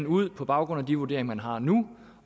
ud på baggrund af de vurderinger man har nu